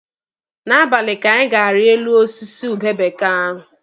N'abalị ka anyị ga-ari elu osisi ube bekee ahụ.